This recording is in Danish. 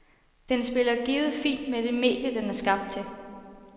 Den spiller givet fint med det medie, den er skabt til.